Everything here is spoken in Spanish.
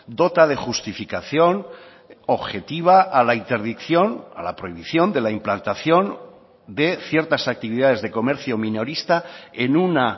dota de justificación objetiva a la interdicción a la prohibición de la implantación de ciertas actividades de comercio minorista en una